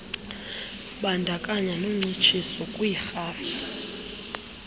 lubandakanye noncitshiso kwiirhafu